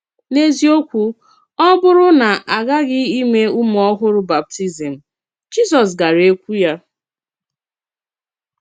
N’eziòkwù, ọ bùrù nà a àghàghì ímè ùmù-òhùrù bàptízm, Jízọ́s gàrà èkwù ya.